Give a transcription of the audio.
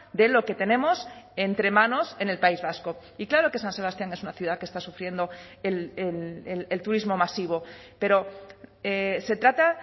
de lo que tenemos entre manos en el país vasco y claro que san sebastián es una ciudad que está sufriendo el turismo masivo pero se trata